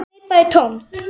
Fólk greip bara í tómt.